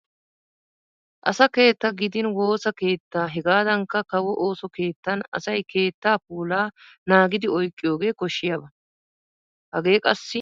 Asa keettaa gidin wosa keettaa hegaadankka kawo ooso keettan asay keettaa puulaa naagidi oyqqiyogee koshshiyaba. Hagee qassi daro marccuwa koshshiyaba.